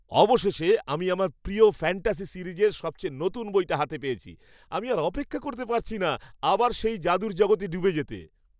অবশেষে আমি আমার প্রিয় ফ্যান্টাসি সিরিজের সবচেয়ে নতুন বইটা হাতে পেয়েছি। আমি আর অপেক্ষা করতে পারছি না আবার সেই যাদুর জগতে ডুবে যেতে!